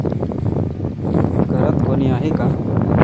घरात कोणी आहे का?